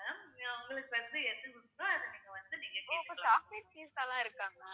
ஓ அப்ப chocolate pizza லாம் இருக்கா ma'am